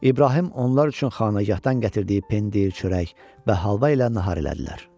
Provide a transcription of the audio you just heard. İbrahim onlar üçün xanəgahdan gətirdiyi pendir, çörək və halva ilə nahar elədilər.